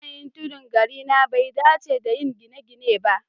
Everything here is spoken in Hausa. Yanayin tudu a garina bai dace da yin gine-gine ba